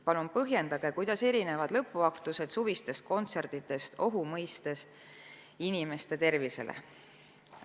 Palun põhjendage, kuidas erinevad lõpuaktused suvistest kontsertidest, pidades silmas inimeste tervisele avaldatavat ohtu.